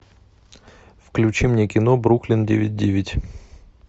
включи мне кино бруклин девять девять